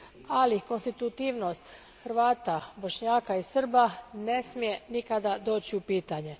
Ali, konstitutivnost Hrvata, Bošnjaka i Srba ne smije nikada doći u pitanje.